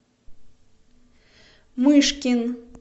мышкин